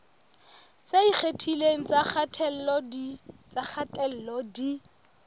tse ikgethileng tsa kgatello di